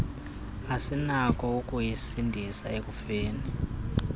asinakho ukuyisindisa ekufeni